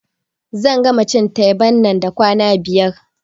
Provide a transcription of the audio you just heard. Zan gama cin teban nan da kwana biyar